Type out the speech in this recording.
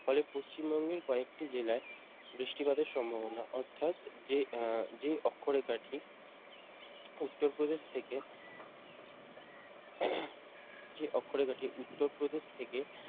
ফলে পশ্চিমবঙ্গের কয়েকটি জেলায় বৃষ্টিপাতের সম্ভাবনা অর্থাৎ যে যে অক্ষরেখাটি উত্তরপ্রদেশ থেকে যে অক্ষরেখাটি উত্তরপ্রদেশ থেকে